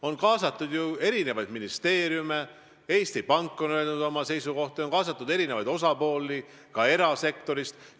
On kaasatud eri ministeeriume, Eesti Pank on öelnud oma seisukohti, on kaasatud eri osapooli ka erasektorist.